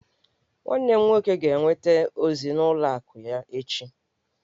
Nwanne m nwoke ga-enweta ozi n'ụlọ akụ ya echi